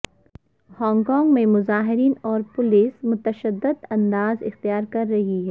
Hong Kong میں مظاہرین اور پولیس متشدد انداز اختیار کر رہے ہیں